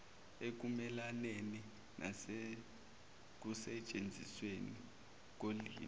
ekumelaneni nasekusetshenzisweni kolimi